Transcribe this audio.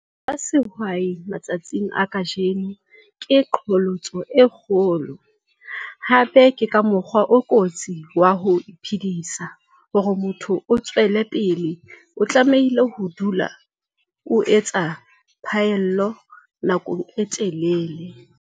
BA SEHWAI MATSATSING A KAJENO KE QHOLOTSO E KGOLO. HAPE KE MOKGWA O KOTSI WA HO IPHEDISA. HORE MOTHO O TSWELE PELE, O TLAMEHILE HO DULA O ETSA PHAELLO NAKONG E TELELE.